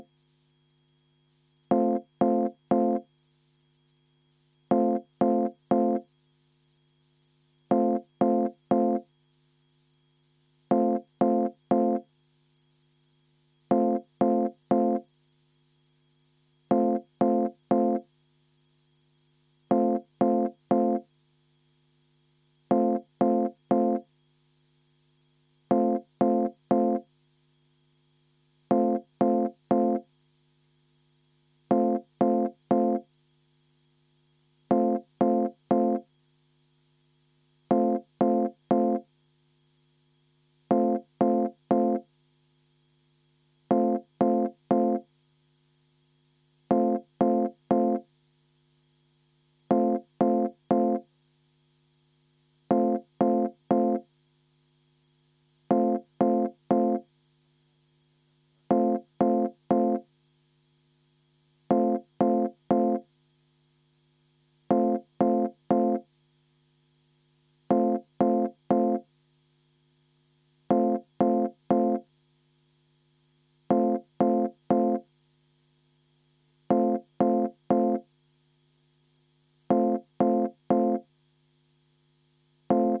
V a h e a e g